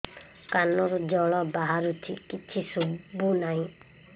କାନରୁ ଜଳ ବାହାରୁଛି କିଛି ଶୁଭୁ ନାହିଁ